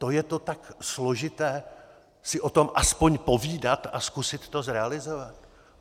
To je to tak složité si o tom aspoň povídat a zkusit to zrealizovat?